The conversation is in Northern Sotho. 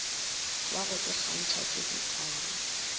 wa go ikgantšha ke ditala